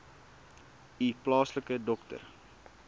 u plaaslike dokter